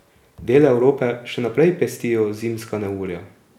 Dele Evrope še naprej pestijo zimska neurja.